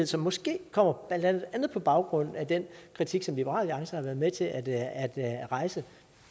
som måske kommer på baggrund af den kritik som liberal alliance har været med til at at rejse